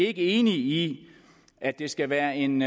er enige i at det skal være en